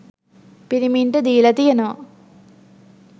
පිරිමින්ට දීල තියෙනවා